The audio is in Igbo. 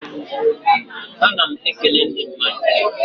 A na m e kele ndị mmadụ.